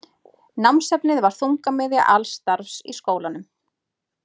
Námsefnið var þungamiðja alls starfs í skólanum.